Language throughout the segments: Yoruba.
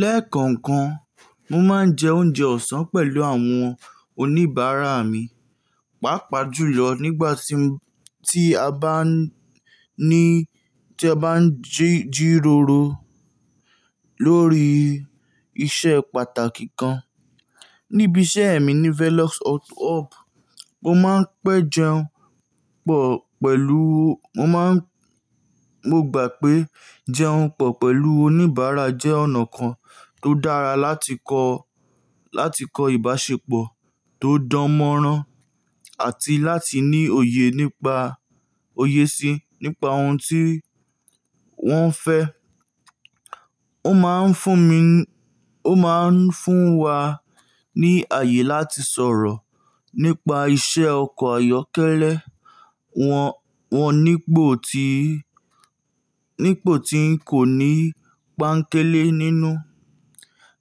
Lẹ́ẹ̀kọ̀ọ̀kan, mo máa ń jẹ oúnjẹ ọ̀sán pẹ̀lú àwọn oníbàárà mi, pàápàá jùlọ nígbà tí a bá ní tí a bá ń jíróró lórí iṣẹ́ pàtàkì kan. Níbi iṣẹ́ mi ní Velox Hub, mo máa ń pèé jẹun pọ̀ pẹ̀lú mo máa mo gbà pé jẹun pọ̀ pẹ̀lú oníbàárà jẹ́ ọ̀nà kan tó dára láti kọ́ láti kọ́ ìbáṣepọ̀ tó dánmọ́rán àti láti ní òye nípa òye si nípa ohun tí wọ́n fẹ́. Ó máa ń fún mi ó máa ń fún wa ní ààyè láti sọ̀rọ̀ nípa iṣẹ́ ọkọ̀ ayọ́kẹ́lẹ́ wọn, wọn nípò tí nípò tí ń kò ní pánkélé nínú.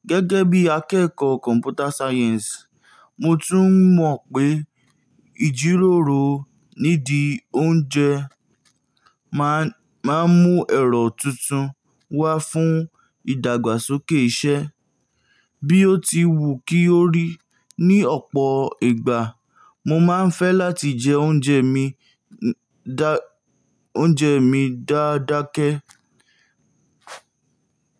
Gẹ́gẹ́ bí akẹ́kọ̀ọ́ Computer Science, mo tún mọ̀ pé ìjíròrò nídi oúnjẹ máa ń máa mú ẹ̀rọ tuntun wá fún ìdàgbàsókè iṣẹ́. Bí ó ti wù kí ó rí, ní ọ̀pọ̀ ìgbà mo máa ń fẹ́ láti jẹ oúnjẹ mi dá oúnjẹ mi dáádáákẹ́.